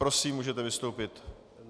Prosím, můžete vystoupit.